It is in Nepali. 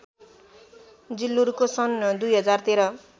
जिल्लुरको सन् २०१३